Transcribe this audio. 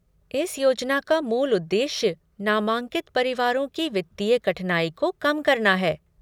इस योजना का मूल उद्देश्य नामांकित परिवारों की वित्तीय कठिनाई को कम करना है।